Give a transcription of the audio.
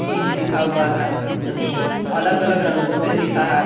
Is लिखा हुआ है जो की अलग अलग रंगों से लिखा है।